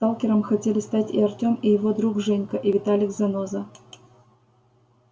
сталкером хотели стать и артём и его друг женька и виталик заноза